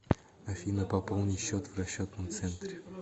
афина пополнить счет в расчетном центре